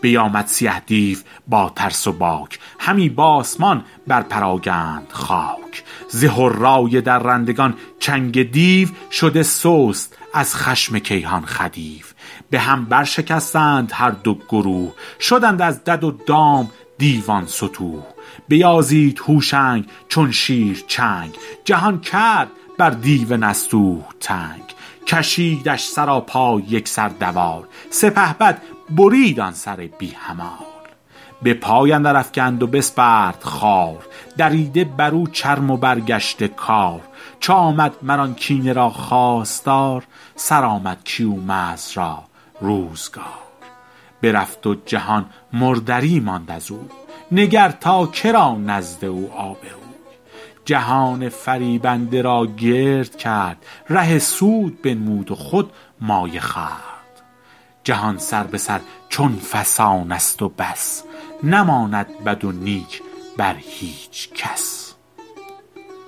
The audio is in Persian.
بیامد سیه دیو با ترس و باک همی بآسمان بر پراگند خاک ز هرای درندگان چنگ دیو شده سست از خشم کیهان خدیو به هم برشکستند هر دو گروه شدند از دد و دام دیوان ستوه بیازید هوشنگ چون شیر چنگ جهان کرد بر دیو نستوه تنگ کشیدش سراپای یک سر دوال سپهبد برید آن سر بی همال به پای اندر افگند و بسپرد خوار دریده بر او چرم و برگشته کار چو آمد مر آن کینه را خواستار سرآمد کیومرث را روزگار برفت و جهان مردری ماند ازوی نگر تا که را نزد او آبروی جهان فریبنده را گرد کرد ره سود بنمود و خود مایه خورد جهان سر به سر چو فسانست و بس نماند بد و نیک بر هیچ کس